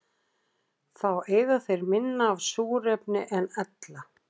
Þá eyða þeir minna af súrefni en ella.